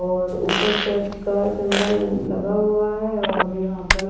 और ऊपर चर्च का सिंबल लगा हुआ है और यहां पर--